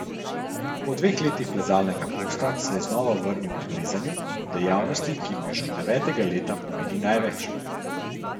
Po dveh letih plezalnega posta se je znova vrnil k plezanju, dejavnosti, ki mu že od devetega leta pomeni največ.